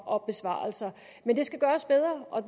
og besvarelser men det skal gøres bedre og